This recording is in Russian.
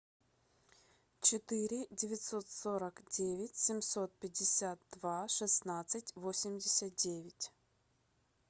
четыре девятьсот сорок девять семьсот пятьдесят два шестнадцать восемьдесят девять